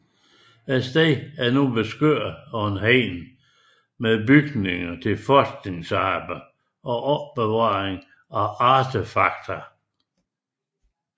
Stedet er nu beskyttet af hegn med bygninger til forskningsarbejde og opbevaring af artefakter